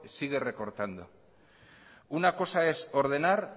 sigue recortando una cosa es ordenar